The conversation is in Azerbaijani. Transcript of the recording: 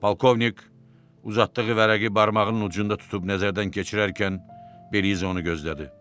Polkovnik, uzatdığı vərəqi barmağının ucunda tutub nəzərdən keçirərkən Beliza onu gözlədi.